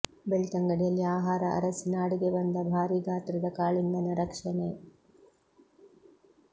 ಬೆಳ್ತಂಗಡಿಯಲ್ಲಿ ಆಹಾರ ಅರಸಿ ನಾಡಿಗೆ ಬಂದ ಭಾರೀ ಗಾತ್ರದ ಕಾಳಿಂಗನ ರಕ್ಷಣೆ